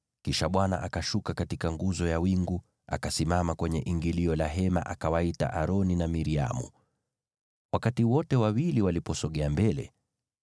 Kisha Bwana akashuka katika nguzo ya wingu, akasimama kwenye ingilio la Hema, akawaita Aroni na Miriamu. Wakati wote wawili waliposogea mbele,